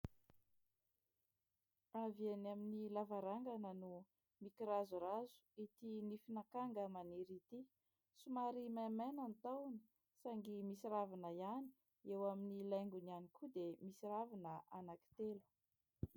Avy eny amin'ny lavarangana no mikirazorazo ity nifin' akanga maniry ity, somary mainamaina ny tahony saingy misy ravina ihany, eo amin'ny laingony ihany koa dia misy ravina anankitelo.